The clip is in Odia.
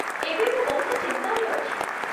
ଏବେ ମୁଁ ବହୁତ ଚିନ୍ତାରେ ଅଛି ।